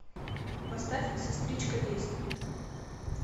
поставь сестричка действуй